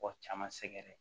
Kɔ caman sɛgɛrɛ